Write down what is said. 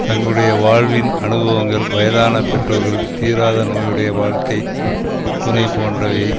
தங்களுடைய வாழ்வின் அனுபவங்கள் வயதான பெற்றோர்கள் தீராத நோயுடைய வாழ்க்கை துணை போன்றவை